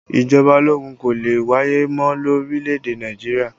Ìjọba ológun kò lè wáyé mọ́ lórílẹ̀ èdè Nàìjíríà